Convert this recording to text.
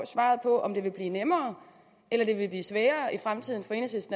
svaret på om det vil blive nemmere eller det vil blive sværere i fremtiden